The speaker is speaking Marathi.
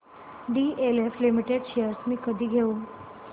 डीएलएफ लिमिटेड शेअर्स मी कधी घेऊ